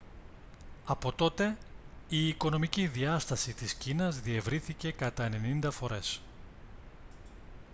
από τότε η οικονομική διάσταση της κίνας διευρύνθηκε κατά 90 φορές